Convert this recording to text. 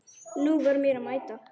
Nú var mér að mæta!